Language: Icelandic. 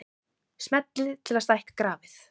Smellið til að stækka grafið.